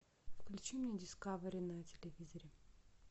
включи мне дискавери на телевизоре